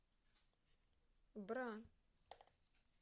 бра